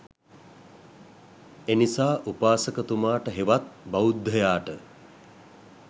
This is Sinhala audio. එනිසා උපාසකතුමාට හෙවත් බෞද්ධයාට